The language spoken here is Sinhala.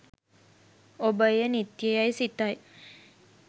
ඔබ එය නිත්‍ය යැයි සිතයි.